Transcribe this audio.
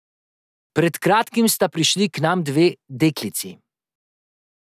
Pred kratkim sta prišli k nam dve deklici.